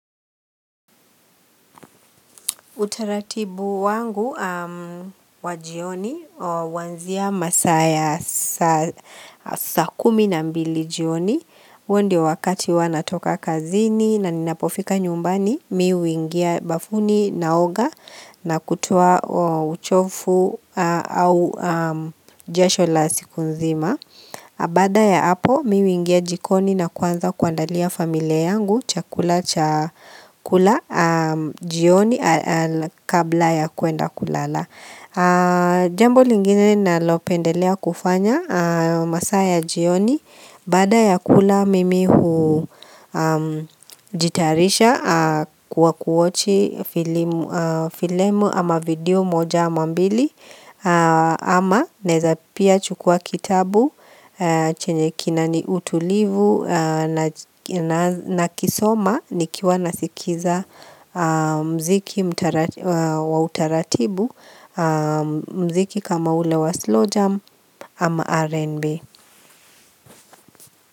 Utaratibu wangu wa jioni huanzia masaa ya saa kumi na mbili jioni huo ndio wakati huwa natoka kazini na ninapofika nyumbani mi huingia bafuni naoga na kutoa uchofu au jasho la siku nzima Baada ya hapo mi huingia jikoni na kuanza kuandalia familia yangu chakula cha kula jioni kabla ya kuenda kulala Jambo lingine nalopendelea kufanya masaa ya jioni Baada ya kula mimi hujitayarisha kuwa kuwachi filemu ama video moja ama mbili ama naeza pia chukua kitabu chenye kinani utulivu nakisoma ni kiwa nasikiza mziki wa utaratibu mziki kama ule wa slow jump ama RNB.